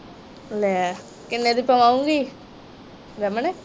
ਲੈ ਕਿਨ੍ਹੇ ਦੀ ਪਵਾਉਗੀ ਰਮਨ